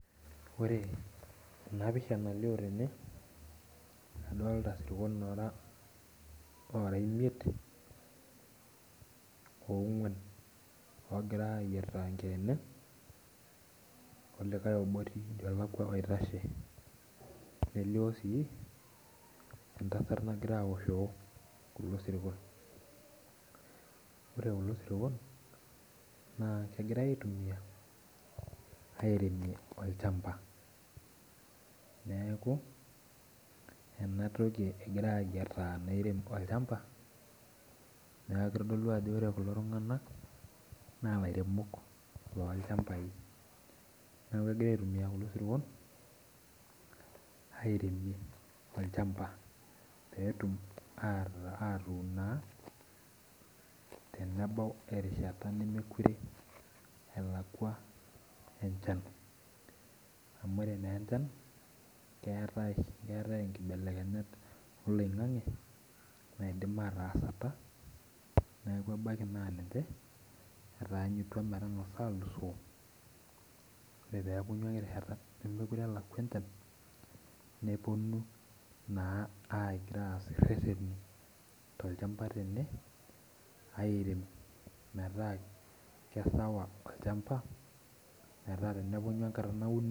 Ore enapisha nalio tene, adolta sirkon ora imiet, ong'uan, ogira ayiataa enkeene, olikae obo olakwa oitashe. Nelio si, entasat nagira awoshoo kulo sirkon. Ore kulo sirkon, naa kegirai aitumia, airemie olchamba. Keeku, enatoki egirai ayiataa nairem olchamba, neeku kitodolu ajo ore kulo tung'anak, naa lairemok lolchambai. Neeku kegirai aitumia kulo sirkon, airemie olchamba petum atuun naa, tenebau erishata nemekure elakwa enchan. Amu ore nenchan, keetae inkibelekenyat oloing'ang'e, naidim ataasata, neku ebaiki na ninche, etaanyutua metang'asa alusoo, ore pepunyu ake erishata nemekure elakwa enchan, neponu naa aitaas irrerreni tolchamba tene, airem metaa kesawa olchamba, metaa tenepunyu enkata nauni.